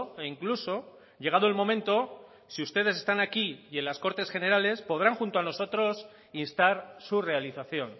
e incluso llegado el momento si ustedes están aquí y en las cortes generales podrán junto a nosotros instar su realización